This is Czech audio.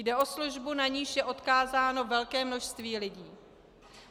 Jde o službu, na niž je odkázáno velké množství lidí.